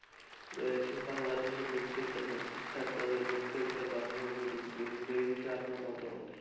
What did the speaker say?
রয়েছে বাংলাদেশের প্রত্যেকটা প্রতিষ্ঠান তথা বাংলার প্রত্যেকটা বাংলার প্রযুক্তি সে বিষয়ে আপনার মতামত কি?